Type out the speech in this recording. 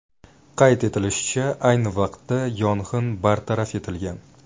Qayd etilishicha, ayni vaqtda yong‘in bartaraf etilgan.